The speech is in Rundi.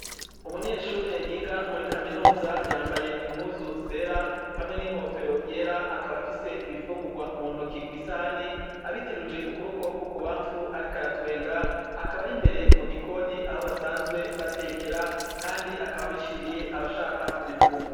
Umunyeshure yiga muri kaminuza yambaye impuzu zera hamwe n'inkofero yera akaba afise ibifungurwa mu ntoki ku isahani, abiteruje ukuboko kw'ukubamfu ariko aratwenga, akaba ari imbere mu gikoni aho basanzwe batekera, kandi akaba abishiriye abashaka kubifungura.